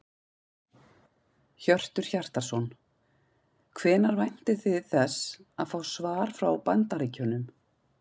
Hjörtur Hjartarson: Hvenær væntið þið þess að fá svar frá Bandaríkjunum?